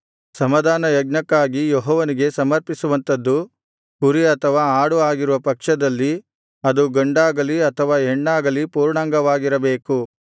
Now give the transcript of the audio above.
ಸಮಾಧಾನಯಜ್ಞಕ್ಕಾಗಿ ಯೆಹೋವನಿಗೆ ಸಮರ್ಪಿಸುವಂಥದು ಕುರಿ ಅಥವಾ ಆಡು ಆಗಿರುವ ಪಕ್ಷದಲ್ಲಿ ಅದು ಗಂಡಾಗಲಿ ಅಥವಾ ಹೆಣ್ಣಾಗಲಿ ಪೂರ್ಣಾಂಗವಾಗಿರಬೇಕು